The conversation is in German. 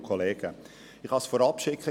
Ich kann es vorausschicken.